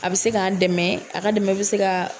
A bɛ se k'an dɛmɛ, a ka dɛmɛ a bɛ se ka.